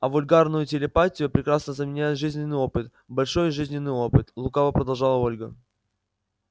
а вульгарную телепатию прекрасно заменяет жизненный опыт большой жизненный опыт лукаво продолжила ольга